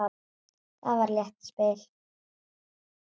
Það var létt spil.